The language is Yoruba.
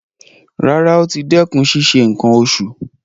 Rárá, ó ti dẹ́kun ṣíṣe nǹkan oṣù.